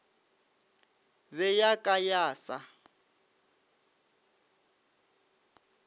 be ya ka ya sa